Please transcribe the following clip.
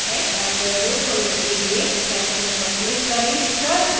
avogadro खोलने लिए dash home पर click करें